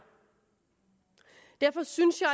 derfor synes jeg